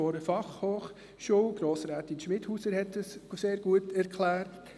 Grossrätin Schmidhauser hat dies sehr gut erklärt.